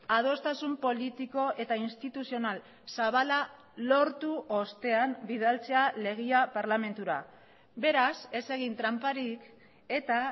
adostasun politiko eta instituzional zabala lortu ostean bidaltzea legea parlamentura beraz ez egin tranparik eta